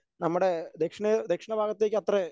നമ്മുടെ ദക്ഷിണ ദക്ഷിണ ഭാഗത്തേക്ക് അത്ര